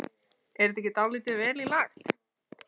Er þetta ekki dálítið vel í lagt?